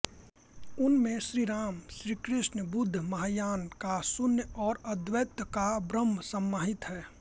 उनमें श्रीराम श्रीकृष्ण बुद्ध महायान का शून्य और अद्वैत का ब्रह्म समाहित है